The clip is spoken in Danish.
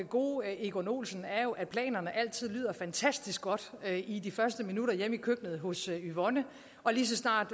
gode egon olsen er jo at planerne altid lyder fantastisk godt i de første minutter hjemme i køkkenet hos yvonne og lige så snart